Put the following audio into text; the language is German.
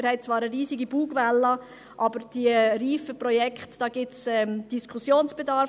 Wir haben zwar eine riesige Bugwelle, aber bei den reifen Projekten gibt es Diskussionsbedarf.